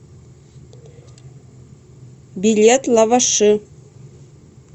билет лаваши